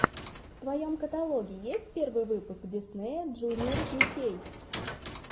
в твоем каталоге есть первый выпуск диснея джуниор ю кей